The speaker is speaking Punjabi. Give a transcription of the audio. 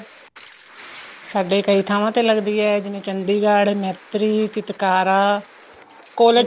ਸਾਡੇ ਕਈ ਥਾਵਾਂ ਤੇ ਲੱਗਦੀ ਏ ਜਿਵੇਂ ਚੰਡੀਗੜ੍ਹ ਮੇਤਰੀ ਚਿਤਕਾਰਾ